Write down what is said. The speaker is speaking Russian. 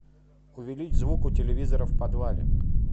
увеличь звук у телевизора в подвале